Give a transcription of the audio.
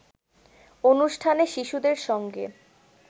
অনুষ্ঠানে শিশুদের সঙ্গে